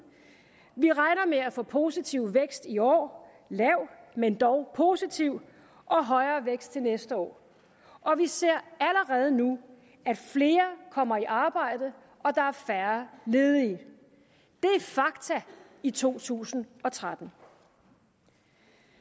vi regner med at få positiv vækst i år lav men dog positiv og højere vækst til næste år og vi ser allerede nu at flere kommer i arbejde og at der er færre ledige det er fakta i to tusind og tretten